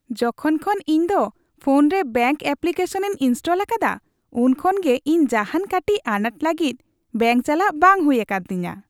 ᱡᱚᱠᱷᱚᱱ ᱠᱷᱚᱱ ᱤᱧ ᱫᱚ ᱯᱷᱳᱱ ᱨᱮ ᱵᱮᱝᱠ ᱮᱯᱞᱤᱠᱮᱥᱚᱱᱤᱧ ᱤᱱᱥᱴᱚᱞ ᱟᱠᱟᱫᱟ, ᱩᱱ ᱠᱷᱚᱱ ᱜᱮ ᱤᱧ ᱡᱟᱦᱟᱱ ᱠᱟᱹᱴᱤᱡ ᱟᱱᱟᱴ ᱞᱟᱹᱜᱤᱫ ᱵᱮᱝᱠ ᱪᱟᱞᱟᱜ ᱵᱟᱝ ᱦᱩᱭ ᱟᱠᱟᱱ ᱛᱤᱧᱟ ᱾